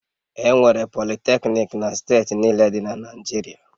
Enwere Politecnik na steeti niile dị na Naịjirịa